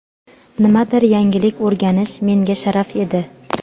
Nimadir yangilik o‘rganish menga sharaf edi.